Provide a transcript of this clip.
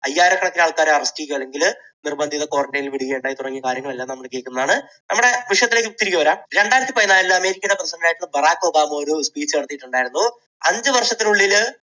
അയ്യായിരക്കണക്കിന് ആളുകളെ arrest ചെയ്യുകയോ അല്ലെങ്കിൽ നിർബന്ധിത quarantine ൽ വിടുകയോ ഉണ്ടായി തുടങ്ങിയ കാര്യങ്ങളെല്ലാം നമ്മൾ കേൾക്കുന്നതാണ്. നമ്മുടെ വിഷയത്തിലേക്ക് തിരികെ വരാം. രണ്ടായിരത്തി പതിനാലിൽ അമേരിക്കയുടെ president ആയിരുന്ന ബറാക് ഒബാമ ഒരു speech നടത്തിയിട്ട് ഉണ്ടായിരുന്നു. അഞ്ചുവർഷത്തിനുള്ളിൽ